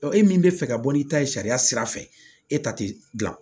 e min bɛ fɛ ka bɔ n'i ta ye sariya sira fɛ e ta te dilan